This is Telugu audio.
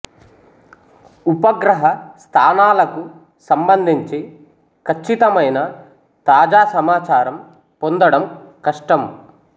ఉపగ్రహ స్థానాలకు సంబంధించి ఖచ్చితమైన తాజా సమాచారం పొందడం కష్టం